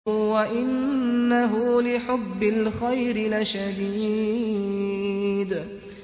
وَإِنَّهُ لِحُبِّ الْخَيْرِ لَشَدِيدٌ